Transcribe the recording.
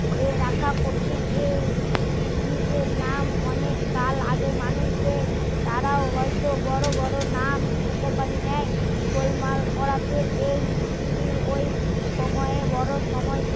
এ রাখা কঠিন এই উদ্ভিদ এর নাম অনেক কাল আগে মানুষ দের তারাও হয় তো বড়ো বড়ো নাম উপকার নেয় গোলমাল করাতেই এই দিনেই ওই সময় বড়ো সময়